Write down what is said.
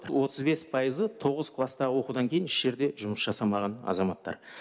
отыз бес пайызы тоғыз класстағы оқудан кейін еш жерде жұмыс жасамаған азаматтар